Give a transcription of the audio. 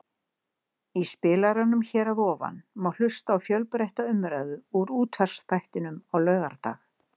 Í spilaranum hér að ofan má hlusta á fjölbreytta umræðu úr útvarpsþættinum á laugardag.